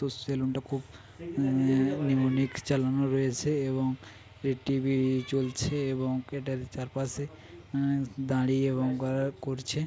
তোর সেলুন টা খুব আহ চালানো রয়েছে এবং এ টি.ভি চলছে এবং চার পাশে আহ দাঁড়িয়ে এবং করছে।